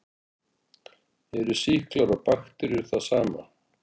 Eru sýklar og bakteríur það sama?